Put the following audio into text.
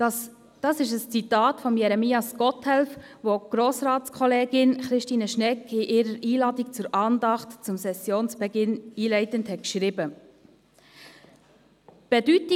» Dies ist ein Zitat von Jeremias Gotthelf, welches die Grossratskollegin Christine Schnegg einleitend in ihre Einladung zur Andacht zum Sessionsbeginn hingeschrieben hat.